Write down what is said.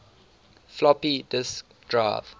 floppy disk drive